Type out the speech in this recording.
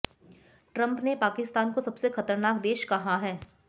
Trump ने पाकिस्तान को सबसे खतरनाक देश कहा है